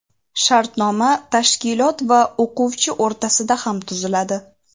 Shartnoma tashkilot va o‘quvchi o‘rtasida ham tuziladi.